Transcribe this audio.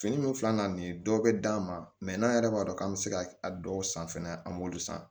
Fini min filɛ na nin ye dɔw bɛ d'an ma mɛ n'an yɛrɛ b'a dɔn k'an bɛ se ka a dɔw san fɛnɛ an b'olu san